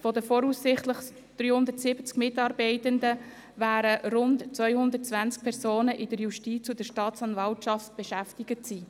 Von den voraussichtlich 370 Mitarbeitenden werden rund 220 Personen in der Justiz und in der Staatsanwaltschaft beschäftigt sein.